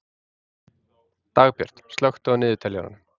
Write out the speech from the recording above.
Dagbjörg, slökktu á niðurteljaranum.